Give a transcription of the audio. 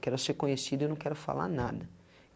Quero ser conhecido e eu não quero falar nada.